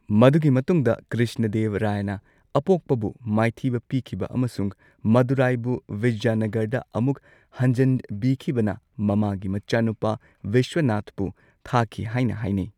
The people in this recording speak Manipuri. ꯃꯗꯨꯒꯤ ꯃꯇꯨꯡꯗ ꯀ꯭ꯔꯤꯁꯅꯗꯦꯕ ꯔꯥꯌꯅ ꯑꯄꯣꯛꯄꯕꯨ ꯃꯥꯏꯊꯤꯕ ꯄꯤꯈꯤꯕ ꯑꯃꯁꯨꯡ ꯃꯗꯨꯔꯥꯏꯕꯨ ꯕꯤꯖꯌꯅꯒꯔꯗ ꯑꯃꯨꯛ ꯍꯟꯖꯟꯕꯤꯈꯤꯕꯅ ꯃꯃꯥꯒꯤ ꯃꯆꯥꯅꯨꯄꯥ ꯕꯤꯁ꯭ꯋꯅꯥꯊꯄꯨ ꯊꯥꯈꯤ ꯍꯥꯏꯅ ꯍꯥꯏꯅꯩ꯫